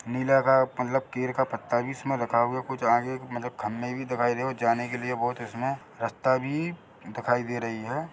नीला का केयर का पत्ता भी इसमें रखा हुआ है कुछ आगे खाने का भी दिखाई दे रहा है जाने के लिए बहुत इसमें रास्ता भी दिखाई दे रही है।